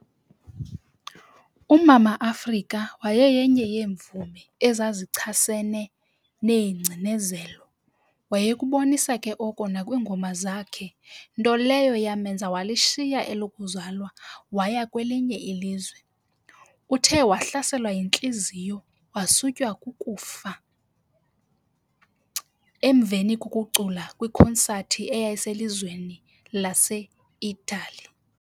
Umama Afrika waye yenye yeevumi ezazixhasene neegcinezelo wayekubonisa ke oko nakwingoma zakhe nto leyo yamenza walishiya elokuzalwa waya kwelinye ilizwe. Uthe wahlaselwa yintliziyo wasutywa kukufa kwa oko emveni kokucula kwikonsati eyayise lizweni lase itali.